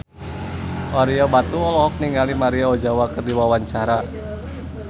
Ario Batu olohok ningali Maria Ozawa keur diwawancara